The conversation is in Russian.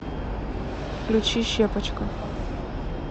включи щепочка